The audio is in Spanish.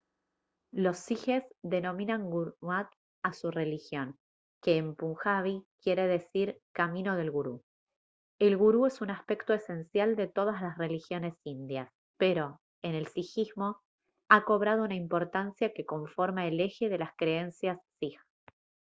los sijes denominan gurmat a su religión que en punjabi quiere decir «camino del gurú». el gurú es un aspecto esencial de todas las religiones indias pero en el sijismo ha cobrado una importancia que conforma el eje de las creencias sij